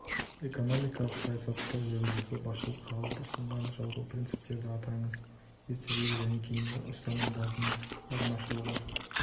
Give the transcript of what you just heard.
экономикалық саясатты жүргізуді басшылыққа алып ұсынған жалпы принциптерді атаңыз ертедегі және кейінгі ұстанымдарының айырмашылығы